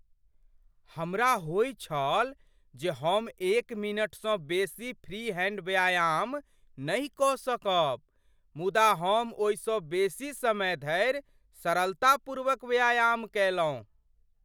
हमरा होइत छल जे हम एक मिनटसँ बेसी फ्री हैंड व्यायाम नहि कऽ सकब, मुदा हम ओहिसँ बेसी समय धरि सरलतापूर्वक व्यायाम कयलहुँ।